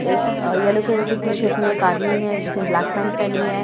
एक yellow colour की T-shirt में एक आदमी है जिसने ब्लैक पैंट पहनी है --